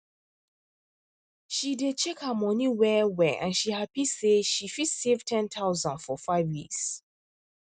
she dey check her money well well and she happy say she fit save 10000 for five years